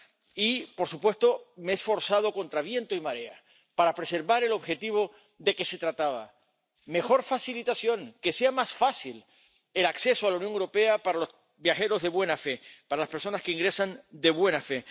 Y, por supuesto, me he esforzado, contra viento y marea, para preservar el objetivo de que se trataba mejor facilitación, que sea más fácil el acceso a la Unión Europea para los viajeros de buena fe, para las personas que ingresan de buena fe.